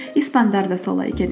испандар да солай екен